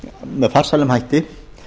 með farsælum hætti